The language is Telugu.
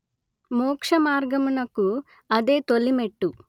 మోక్ష మార్గమునకు అదే తొలిమెట్టు